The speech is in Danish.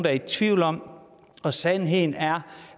er i tvivl om og sandheden er